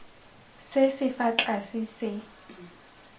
se se fa tlase se